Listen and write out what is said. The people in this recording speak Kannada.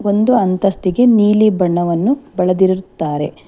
ಒಂದು ಅಂತಸ್ತಿಗೆ ನೀಲಿ ಬಣ್ಣವನ್ನು ಬಳದಿರುತ್ತಾರೆ.